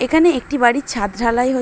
এখানে একটি বাড়ির ছাদ ঢালাই হচ্ছে।